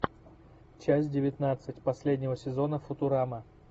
часть девятнадцать последнего сезона футурама